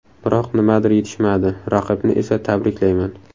Biroq nimadir yetishmadi, raqibni esa tabriklayman.